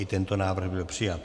I tento návrh byl přijat.